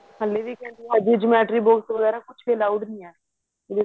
ਹਲੇ ਵੀ ਕਹਿੰਦੀ ਹੈ ਹਜੇ geometry box ਵਗੇਰਾ ਕੁੱਛ ਵੀ allowed ਨਹੀਂ ਹੈ ਇਹਦੇ ਸਕੂਲ